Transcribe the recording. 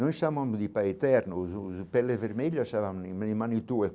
Não chamamos de pai eterno, os peles vermelhas chamam de.